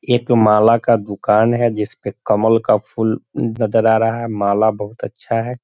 एक माला का दुकान है जिस पर कमल का फूल नजर आ रहा है माल बहुत अच्छा है।